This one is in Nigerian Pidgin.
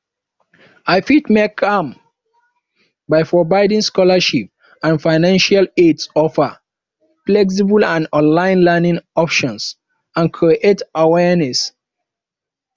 i fit make am by providing scholarships and financial aid offer flexible and online learning options and create awareness